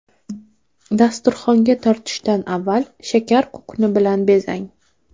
Dasturxonga tortishdan avval shakar kukuni bilan bezang.